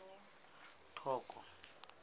toka